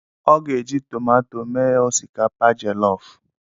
Ọ ga-eji tomato mee osikapa jelofu.